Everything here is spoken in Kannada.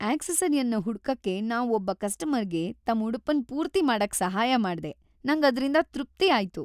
ಅಕ್ಸೆಸೊರಿಯನ್ ಹುಡುಕಾಕ್ ನಾನ್ ಒಬ್ಬ ಕಸ್ಟಮರ್‌ಗೆ ತಮ್ ಉಡುಪನ್ ಪೂರ್ತಿ ಮಾಡಕ್ಕೆ ಸಹಾಯ ಮಾಡ್ದೆ ನಂಗ್ ಅದ್ರಿಂದ ತೃಪ್ತಿ ಆಯ್ತು.